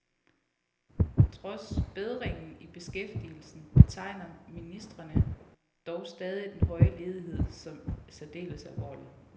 Trods bedringen i beskæftigelsen betegner ministrene dog stadig den høje ledighed som særdeles alvorlig.